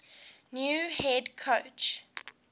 new head coach